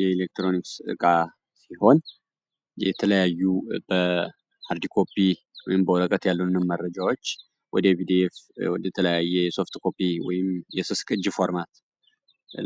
የኤሌክትሮኒክስ ጋር ሲሆን የተለያዩ መረጃዎች